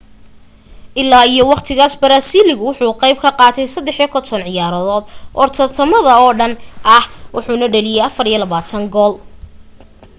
ilaa iyo waqtigaas baraasiiligu wuxu ka qayb qaatay 53 ciyaarood oo tartamada oo dhan ah wuxuna dhaliyay 24 gool